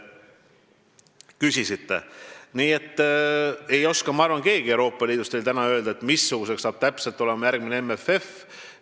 Ma arvan, et keegi Euroopa Liidus ei oska veel täna öelda, missugune on täpselt järgmine MFF.